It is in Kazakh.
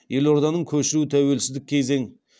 елорданың көшіру тәуелсіздік кезең